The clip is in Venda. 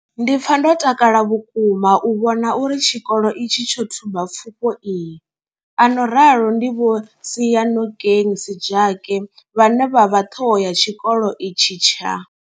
Ndi pfa ndo takala vhukuma u vhona uri tshikolo itshi tsho thuba pfufho iyi, a no ralo ndi Vho Seyanokeng Sejake vhane vha vha ṱhoho ya tshikolo itshi tsha.